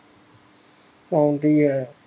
ਪੈਂਦੀ ਹੈ